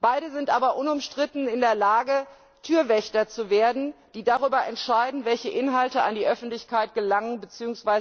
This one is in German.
Beide sind aber unumstritten in der Lage, Türwächter zu werden, die darüber entscheiden, welche Inhalte an die Öffentlichkeit gelangen bzw.